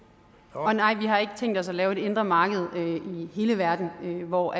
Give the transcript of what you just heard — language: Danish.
og nej vi har ikke tænkt os at lave et indre marked i hele verden hvor